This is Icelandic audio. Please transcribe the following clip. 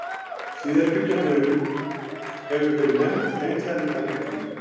Síðari bylgjan hefur verið nefnd Hreinsanirnar miklu.